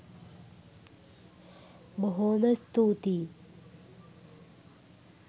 බොහෝම ස්තූතියි!